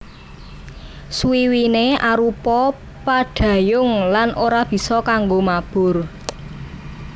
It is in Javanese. Swiwiné arupa pandhayung lan ora bisa kanggo mabur